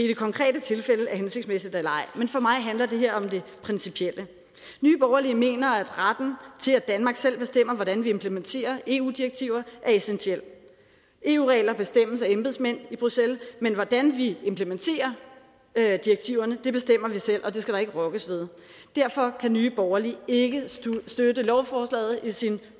det konkrete tilfælde er hensigtsmæssigt eller ej men for mig handler det her om det principielle nye borgerlige mener at retten til at danmark selv bestemmer hvordan vi implementerer eu direktiver er essentiel eu regler bestemmes af embedsmænd i bruxelles men hvordan vi implementerer direktiverne bestemmer vi selv og det skal der ikke rokkes ved derfor kan nye borgerlige ikke støtte lovforslaget i sin